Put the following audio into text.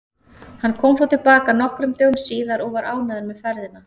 Hann kom þó til baka nokkrum dögum síðar og var ánægður með ferðina.